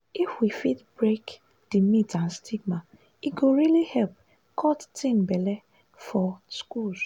if we fit break di myths and stigma e go really help cut teen belle for schools.